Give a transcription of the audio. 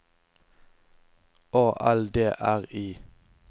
A L D R I